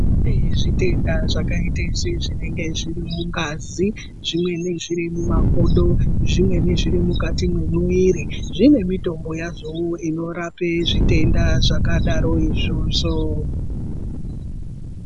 Kune zvitenda zvakaite sezvinenge zviri mungazi zvimweni zviri mumakodo zvimweni zviri mukati meemuviri zvine mitombo yazvowo inorape zvitenda zvakadaro izvozvo.